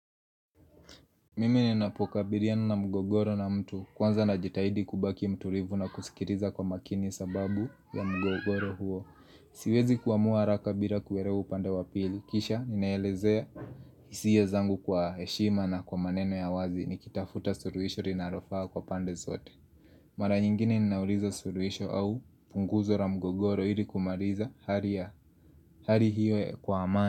Mimi ninapokabiliana na mgogoro na mtu, kwanza najitahidi kubaki mtulivu na kusikiliza kwa makini sababu ya mgogoro huo. Siwezi kuamua haraka bila kuelewa upande wa pili, kisha ninaelezea hisia zangu kwa heshima na kwa maneno ya wazi nikitafuta suluhisho linalofaa kwa pande zote Mara nyingine ninauliza suluhisho au punguzo la mgogoro ili kumaliza hali hiyo kwa amani.